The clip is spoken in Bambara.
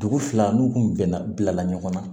Dugu fila n'u kun bɛnna bila la ɲɔgɔn na